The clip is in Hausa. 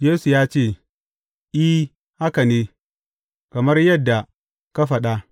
Yesu ya ce, I, haka ne, kamar yadda ka faɗa.